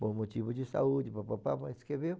Por motivo de saúde, papapapá, escreveu.